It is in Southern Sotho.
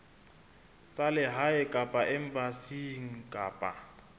tsa lehae kapa embasing kapa